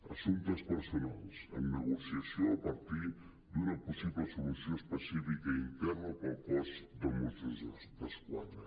assumptes personals en negocia·ció a partir d’una possible solució específica interna per al cos de mossos d’esquadra